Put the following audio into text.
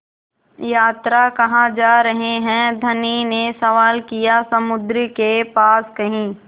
यात्रा कहाँ जा रहे हैं धनी ने सवाल किया समुद्र के पास कहीं